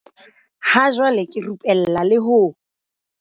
"Ha jwale ke rupella le ho"